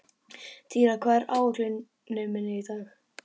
Týra, hvað er á áætluninni minni í dag?